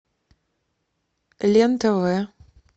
лен тв